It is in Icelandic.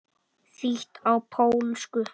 Þýtt á pólsku.